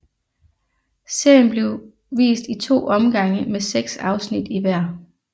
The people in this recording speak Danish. Serien blev vist i to omgange med seks afsnit i hver